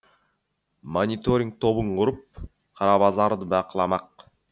мониториг тобын құрып қара базарды бақыламақ